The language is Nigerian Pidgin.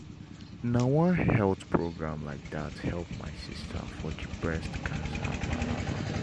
na one health program like that help my sister for the breast cancer palava.